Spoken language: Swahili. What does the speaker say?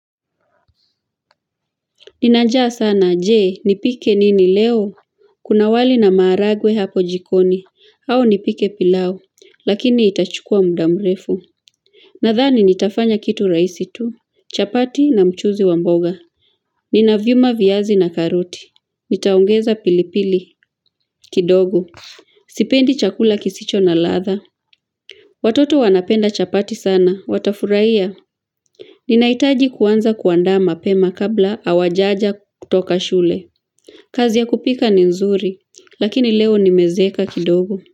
Nina njaa sana je nipike nini leo Kuna wali na maharagwe hapo jikoni au nipike pilau lakini itachukua muda mrefu Nadhani nitafanya kitu rahisi tu chapati na mchuzi wa mboga Ninaviuma viyazi na karoti nitaongeza pilipili kidogo Sipendi chakula kisicho na ladha Watoto wanapenda chapati sana watafurahia Ninahitaji kuanza kuandaa mapema kabla hawajaja kutoka shule kazi ya kupika ni nzuri, lakini leo nimezeeka kidogo.